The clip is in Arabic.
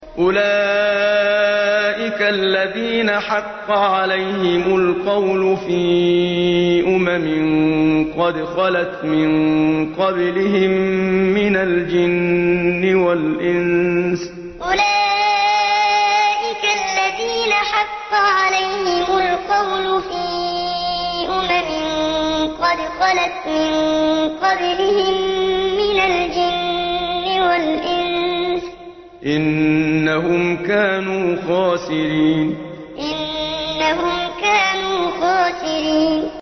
أُولَٰئِكَ الَّذِينَ حَقَّ عَلَيْهِمُ الْقَوْلُ فِي أُمَمٍ قَدْ خَلَتْ مِن قَبْلِهِم مِّنَ الْجِنِّ وَالْإِنسِ ۖ إِنَّهُمْ كَانُوا خَاسِرِينَ أُولَٰئِكَ الَّذِينَ حَقَّ عَلَيْهِمُ الْقَوْلُ فِي أُمَمٍ قَدْ خَلَتْ مِن قَبْلِهِم مِّنَ الْجِنِّ وَالْإِنسِ ۖ إِنَّهُمْ كَانُوا خَاسِرِينَ